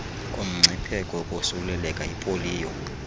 kumngcipheko wokosuleleka yipoliyo